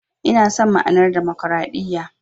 Ina son ma'anar Damakwaraɗiyya.